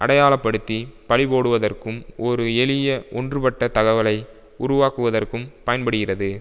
அடையாளப்படுத்தி பழிபோடுவதற்கும் ஒரு எளிய ஒன்றுபட்ட தகவலை உருவாக்குவதற்கும் பயன்படுகிறது